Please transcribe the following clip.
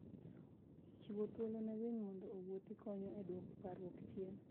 Chiwo thuolo ne winy mondo owuothi konyo e dwoko parruok chien.